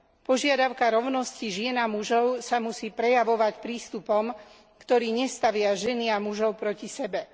Požiadavka rovnosti žien a mužov sa musí prejavovať prístupom, ktorý nestavia ženy a mužov proti sebe.